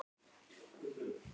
Þá kvað Egill vísu þessa